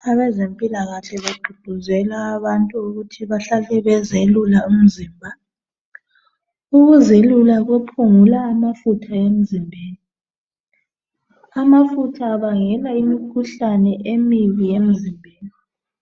Abezempilakahle bagqugquzela abantu ukuthi bahlale bezelula umzimba. Ukuzelula kuphungula amafutha emzimbeni. Amafutha abangena imikhuhlane emibi emzimbeni.